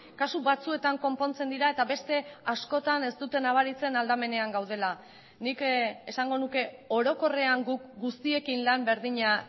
kasu batzuetan konpontzen dira eta beste askotan ez dute nabaritzen aldamenean gaudela nik esango nuke orokorrean guk guztiekin lan berdina